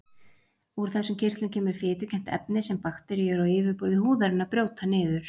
úr þessum kirtlum kemur fitukennt efni sem bakteríur á yfirborði húðarinnar brjóta niður